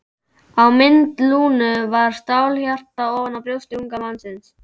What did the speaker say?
Á mynd Lúnu var stálhjarta ofan á brjósti unga mannsins.